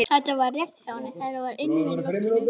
Þetta var rétt hjá henni, það var ilmur í loftinu.